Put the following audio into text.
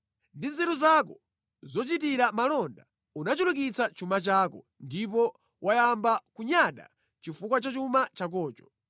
Ndi nzeru zako zochitira malonda unachulukitsa chuma chako ndipo wayamba kunyada chifukwa cha chuma chakocho.